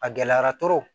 A gɛlɛyara